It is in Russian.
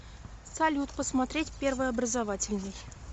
салют посмотреть первый образовательный